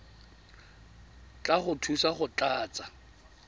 tla go thusa go tlatsa